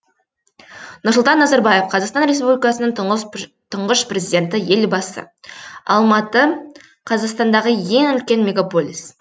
нұрсұлтан назарбаев қазақстан республикасының тұңғыш президенті елбасы алматы қазақстандағы ең үлкен мегаполис